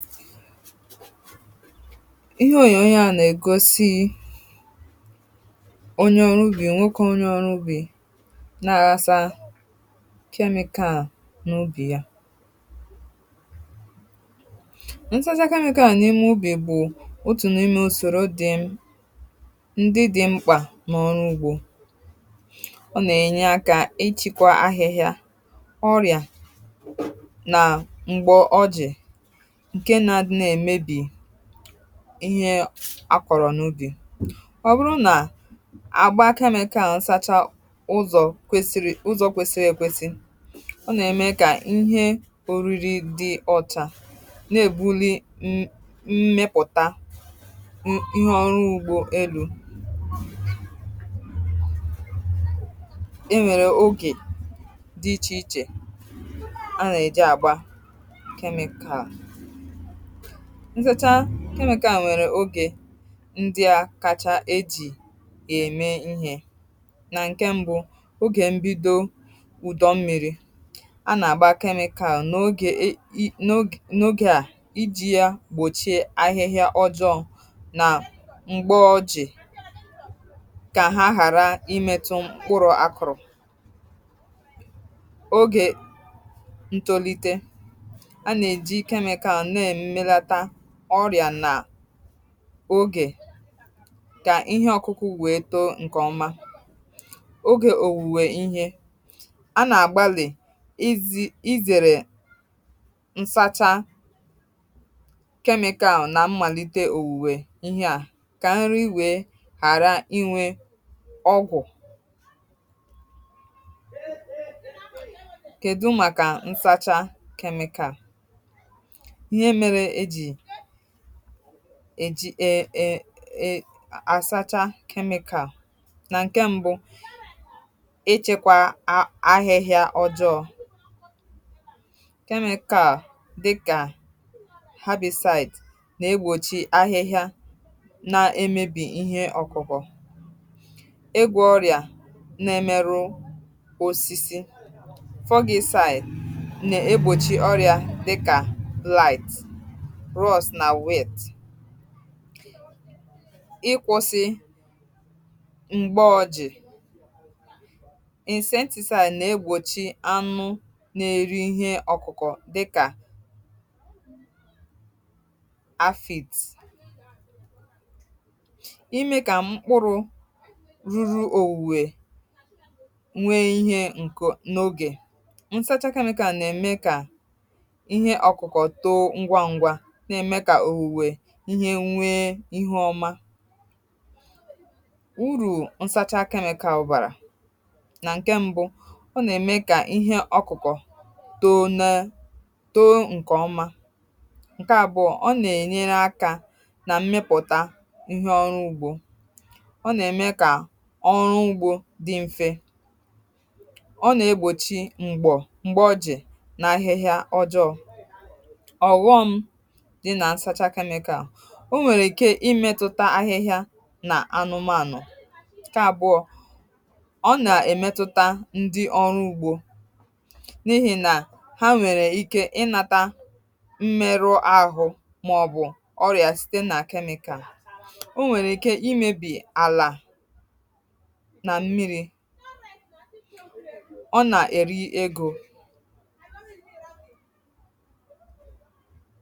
Ihe òyè onye a na-egosi bụ onye ọrụ ugbò nwokè onye ọrụ ugbò na-àghàsa kemịkàl n’ubì ya. Ịnsàzà kemịkàl n’ime ubì bụ otu n’ime òsòrò um dị mkpa n’àrụ̀rụ̀ ugbò.Ọ na-enye aka ịchịkwa ahịhịa, ọrịa, na m̀gbọ̀ ojè. Ihe a kọ̀rọ̀ n’ụdị a, ọ bụrụ na àgba kemịkàl n’ụzọ kwesịrị ekwesi, ọ na-eme um ka ihe oriri dị ọ̀cha ma na-ebuli mmepụ̀ta ihe ọrụ ugbò elū... E nwèrè oge dị iche iche nke nsàchà kemịkàl. M nwere oge ndị a kacha eji eme ihe um nke mbụ bụ oge mbido ụdọ mmiri. A na-agba kemịkàl n’oge a iji gbochie ahịhịa ọjọọ, ka ha ghara imetu mkpụrụ akụrụ, ọrịa, na ogè ka ihe ọkụkụ wee too nke ọma. um Oge owuwe ihe a, a na-agbalị izere nsàchà kemịkàl n’amalite owuwe ihe a, ka nri iwe ghara inwe ọgwụ e jiri. Ee, ee,(um) ee asàchà kemịkàl n’oge mbụ na-echekwa ahịhịa.. Ụdị kemịkàl dịka herbicide na-egbochi ahịhịa, na-egbochi ihe ọkụkọ, egwa, na ọrịa na-emerụ osisi. Fọgì site na-egbochi ọrịa dịka blake ros na wet, na-kwụsị mgba ọrịa. um Ịnsentị cyp na-egbochi anụ̄ na-èri ihe ọkụkọ dị ka afit, ime ka mkpụrụ ruru owuwe nwee ihe nkụ n’oge ya. Nsàchà kemịkàl na-eme ka ihe ọkụkọ too ngwa ngwa ma na-eme ka o nwee uru ọma... Ụmụ̀rụ̀ nsàchà kemịkàl bụ ọtụtụ. Nke mbụ, ọ na-eme ka ihe ọkụkọ toto nke ọma. Nke abụọ, ọ na-enye aka na mmepụ̀ta ihe ọrụ ugbò. um Ọ na-eme ka ọrụ ugbò dị mfe, na-egbochi m̀gbọ̀ na ahịhịa ọjọọ. (ụm) Ma, ọ nwekwara akụkụ ya na-adịghị mma... Ọ nwere ike imetụtakwa ahịhịa na anụmanụ, nke abụọ, ọ na-emetụta ndị ọrụ ugbò n’ihi na ha nwere ike inata mmerụ ahụ maọ̀bụ ọrịa site n’aka kemịkàl. Ọ nwekwara ike imebi àlà na mmiri, ọ na-eri ego.